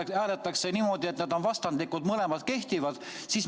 Kui hääletatakse niimoodi, et tulemused on vastandlikud, mõlemad ettepanekud kehtivad?